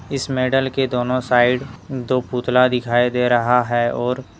इस मेडल के दोनों साइड दो पुतला दिखाई दे रह है और--